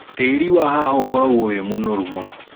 Tĩri wa haha ũkoragũo wĩ mũnoru mũno.